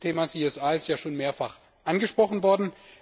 Das Thema CSR ist schon mehrfach angesprochen worden.